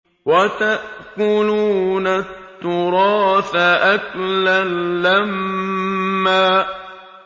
وَتَأْكُلُونَ التُّرَاثَ أَكْلًا لَّمًّا